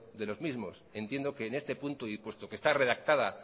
de los mismos entiendo que en este punto y puesto que está redactada